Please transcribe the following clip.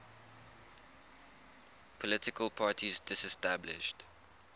political parties disestablished